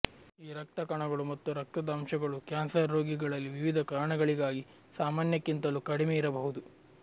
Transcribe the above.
ಈ ರಕ್ತ ಕಣಗಳು ಮತ್ತು ರಕ್ತದ ಅಂಶಗಳು ಕ್ಯಾನ್ಸರ್ ರೋಗಿಗಳಲ್ಲಿ ವಿವಿಧ ಕಾರಣಗಳಿಗಾಗಿ ಸಾಮಾನ್ಯಕ್ಕಿಂತಲೂ ಕಡಿಮೆಯಿರಬಹುದು